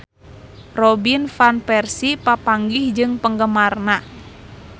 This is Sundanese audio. Robin Van Persie papanggih jeung penggemarna